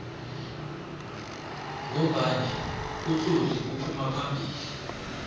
ngombani utloli uphuma phambili